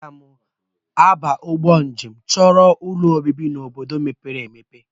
Aga m agba mbọ jee chọrọ ụlọobibi n'obodo mepere emepe